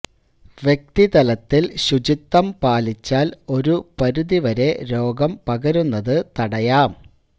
വ്യക്തി തലത്തില് ശുചിത്വം പാലിച്ചാല് ഒരു പരിധി വരെ രോഗം പകരുന്നതു തടയാം